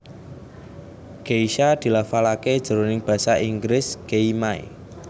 Geisha dilafalaké jroning basa Inggris gei may